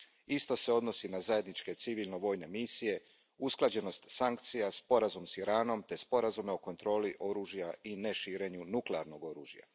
Isto se odnosi na zajedničke civilno vojne misije, usklađenost sankcija, sporazum s Iranom te sporazume o kontroli oružja i neširenju nuklearnog oružja.